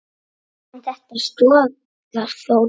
En þetta stoðar þó lítt.